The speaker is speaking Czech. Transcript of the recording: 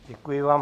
Děkuji vám.